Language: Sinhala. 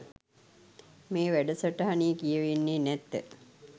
මේ වැඩසටහනේ කියවෙන්නේ නැත.